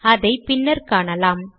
அதை பின்னர் காணலாம்